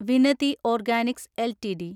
Vinati organics LTD